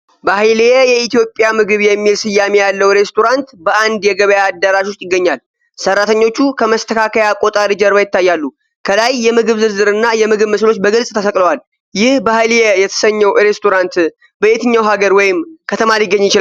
ባህሊየ የኢትዮጵያ ምግብ የሚል ስያሜ ያለው ሬስቶራንት በአንድ የገበያ አዳራሽ ውስጥ ይገኛል። ሰራተኞቹ ከመስተካከያ ቆጣሪ ጀርባ ይታያሉ። ከላይ የምግብ ዝርዝር እና የምግብ ምስሎች በግልጽ ተሰቅለዋል። ይህ "ባህሊየ" የተሰኘው ሬስቶራንት በየትኛው ሀገር ወይም ከተማ ሊገኝ ይችላል?